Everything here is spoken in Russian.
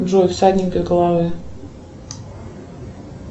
джой всадник без головы